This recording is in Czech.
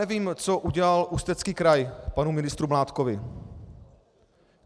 Nevím, co udělal Ústecký kraj panu ministru Mládkovi.